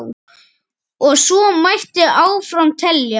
Og svo mætti áfram telja.